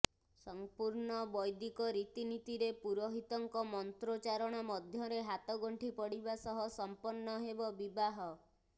ସଂପୁର୍ଣ୍ଣ ବୈଦିକ ରିତିନିତିରେ ପୁରୋହିତଙ୍କ ମନ୍ତ୍ରୋଚାରଣ ମଧ୍ୟରେ ହାତ ଗଣ୍ଠି ପଡିବା ସହ ସମ୍ପନ୍ନ ହେବ ବିବାହ